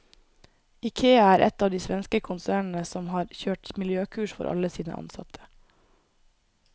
Ikea er ett av de svenske konsernene som har kjørt miljøkurs for alle sine ansatte.